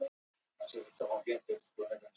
Við Teitur vorum ágætir kunningjar.